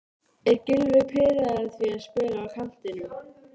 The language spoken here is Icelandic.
Landbúnaðarráðuneytið og Fisksjúkdómanefnd, verða aldrei metin til fjár.